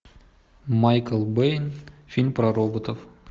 майкл бэй фильм про роботов